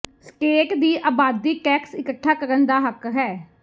state ਦੀ ਆਬਾਦੀ tax ਇਕੱਠਾ ਕਰਨ ਦਾ ਹੱਕ ਹੈ